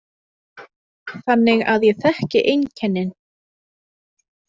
Þannig að ég þekki einkennin.